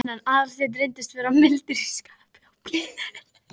Aðalsteinn reyndist vera mildur í skapi og blíður.